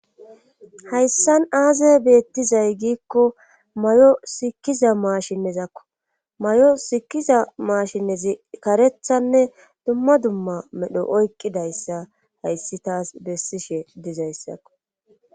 hayssan aze beettizay giikko mayo sikiza maashinnezakko mayo sikiza maashinezi karethanne dumma dumma medho oyqqidayssa hayssi taas bessishe dizayssakko